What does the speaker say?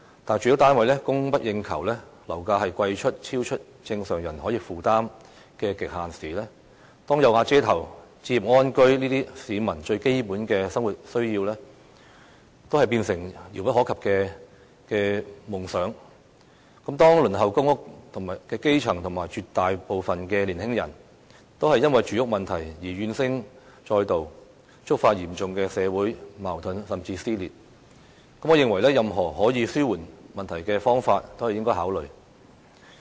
但是，當住屋單位供不應求，樓價超出正常人可以負擔的極限時；當"有瓦遮頭"、置業安居等最基本的生活需要都變成遙不可及的夢想時；當輪候公屋的基層和絕大部分年輕人都因為住屋問題而怨聲載道，觸發嚴重的社會矛盾甚至撕裂時，我認為任何可以紓緩問題的方法都應該考慮。